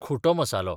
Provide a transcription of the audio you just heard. खुटो मसालो